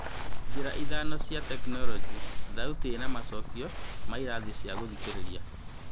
Njĩra ithano cia tekinoronjĩ: Thauti ĩna macokio ma ĩrathi cia gũthikĩrĩria